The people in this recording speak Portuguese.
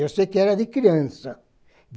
Eu sei que era de criança.